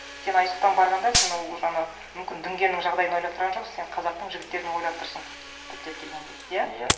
сен айсұлтан барғанда сен ол жаңа мүмкін дүнгеннің жағдайын ойлап тұрған жоқсың сен қазақтың жігіттерін ойлап тұрсың түптеп келгенде иә иә